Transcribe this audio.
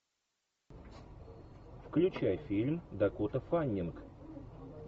включай фильм дакота фаннинг